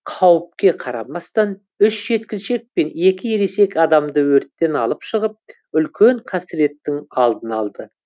қауіпке қарамастан үш жеткіншек пен екі ересек адамды өрттен алып шығып үлкен қасіреттің алдын алды